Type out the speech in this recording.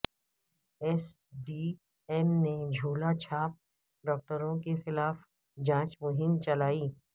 S D M نے جھولا چھاپ ڈاکٹروں کے خلاف جانچ مہم چلائی